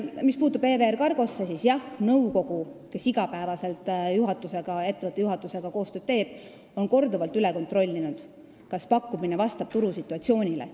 Mis puutub EVR Cargosse, siis nõukogu, kes iga päev ettevõtte juhatusega koostööd teeb, on korduvalt üle kontrollinud, kas pakkumine vastab turusituatsioonile.